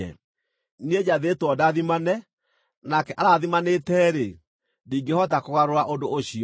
Niĩ njathĩtwo ndathimane; nake arathimanĩte-rĩ, ndingĩhota kũgarũra ũndũ ũcio.